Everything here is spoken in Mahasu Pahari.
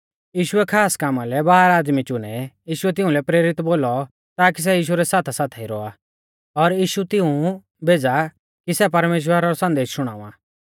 यीशुऐ खास कामा लै बारह आदमी चुनै यीशुऐ तिंउलै प्रेरित बोलौ ताकि सै यीशु रै साथासाथाई रौआ और यीशु तिऊं भेज़ा कि सै परमेश्‍वरा रौ संदेश शुणावा